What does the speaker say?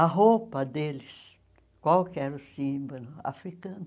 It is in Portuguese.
A roupa deles, qual que era o símbolo africano?